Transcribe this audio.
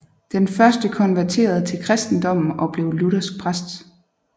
Den første konverterede til kristendommen og blev luthersk præst